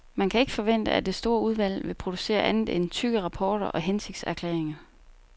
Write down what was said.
Man kan ikke forvente, at det store udvalg vil producere andet end tykke rapporter og hensigtserklæringer.